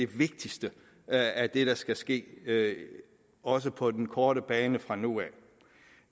vigtigste af det der skal ske også på den korte bane fra nu